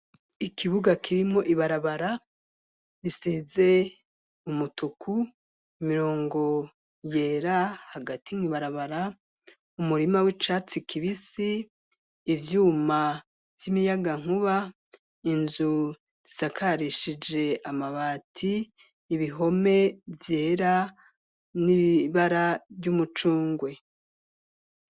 Ikibuga kirimo ibarabara bisize umutuku imirongo yera hagati nk'ibarabara umurima w'icatsi kibisi ivyuma vy'imiyaga nkuba inzu risakarishije amabati ibihome vyera n'ibara vy'umucungwe.